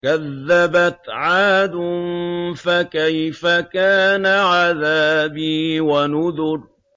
كَذَّبَتْ عَادٌ فَكَيْفَ كَانَ عَذَابِي وَنُذُرِ